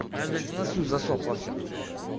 ай блять в носу засохло все